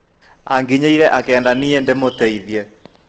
Anginyeire akienda nie ndĩmũteithie.